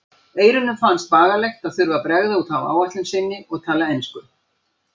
Eyrúnu fannst bagalegt að þurfa að bregða út af áætlun sinni og tala ensku.